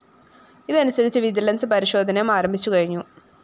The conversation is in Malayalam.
ഇത് അനുസരിച്ച് വിജിലൻസ്‌ പരിശോധനയും ആരംഭിച്ചു കഴിഞ്ഞു